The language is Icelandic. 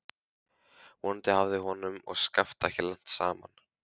Vonandi hafði honum og Skafta ekki lent saman.